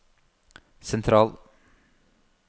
sentral